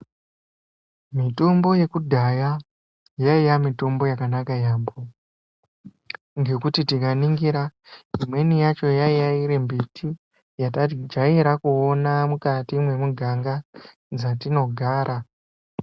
Mitombo yekudhaya yaiya mitombo yakanaka yaambho ngekuti tikaningira imweni yacho yaiya iri mbhiti yatajaira kuona mukati memuganga dzatinogara